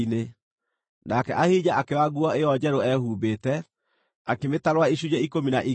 nake Ahija akĩoya nguo ĩyo njerũ eehumbĩte, akĩmĩtarũra icunjĩ ikũmi na igĩrĩ.